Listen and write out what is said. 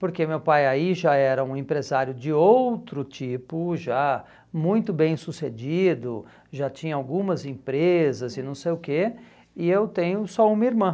porque meu pai aí já era um empresário de outro tipo, já muito bem sucedido, já tinha algumas empresas e não sei o quê, e eu tenho só uma irmã.